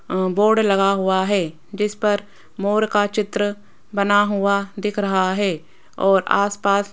अ board लगा हुआ है जिस पर मोर का चित्र बना हुआ दिख रहा है और आसपास --